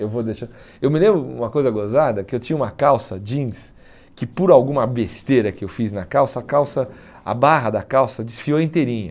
Eu vou deixar... Eu me lembro de uma coisa gozada, que eu tinha uma calça jeans que por alguma besteira que eu fiz na calça, a calça a barra da calça desfiou inteirinha.